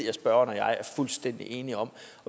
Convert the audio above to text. at spørgeren og jeg er fuldstændig enige om